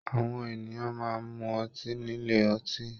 Àwọn ènìyàn máa n mú ọtí nílé ọtí.